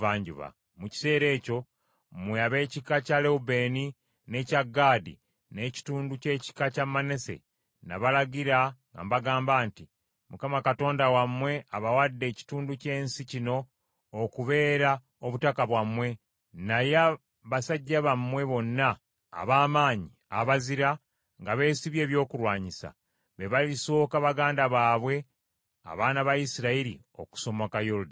Mu kiseera ekyo, mmwe ab’ekika kya Lewubeeni, n’ekya Gaadi, n’ekitundu ky’ekika kya Manase, nabalagira nga mbagamba nti, “ Mukama Katonda wammwe abawadde ekitundu ky’ensi kino okubeera obutaka bwammwe. Naye basajja bammwe bonna ab’amaanyi abazira nga beesibye ebyokulwanyisa, be balisooka baganda bammwe abaana ba Isirayiri okusomoka Yoludaani.